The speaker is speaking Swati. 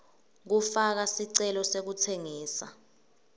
kufaka sicelo sekutsengisa